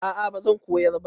A'a bazan koyar ba